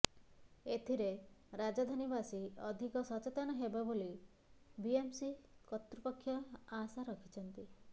ଏଥିରେ ରାଜଧାନୀବାସୀ ଅଧିକ ସଚେତନ ହେବେ ବୋଲି ବିଏମସି କର୍ତୃପକ୍ଷ ଆଶା ରଖିଛନ୍ତି